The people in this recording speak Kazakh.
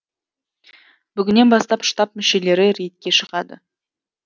бүгіннен бастап штаб мүшелері рейдке шығады